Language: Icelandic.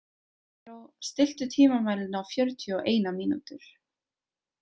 Erró, stilltu tímamælinn á fjörutíu og eina mínútur.